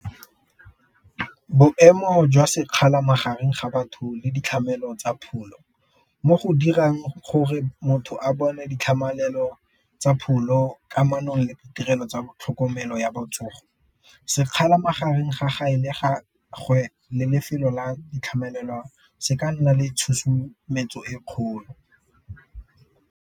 Boemo jwa sekgala magareng ga batho le tsa pholo mo go dirang gore motho a bone tsa pholo kamanong tirelo tsa tlhokomelo ya botsogo, sekgala magareng ga le lefelo la se ka nna le tshosumetso e kgolo.